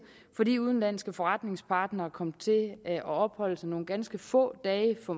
fordi udenlandske forretningspartnere kom til at opholde sig nogle ganske få dage for